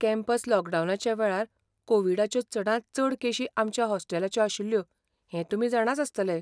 Campus लॉकडावनाच्या वेळार कोविडाच्यो चडांत चड केशी आमच्या हॉस्टेलाच्यो आशिल्ल्यो हें तुमी जाणाच आसतले .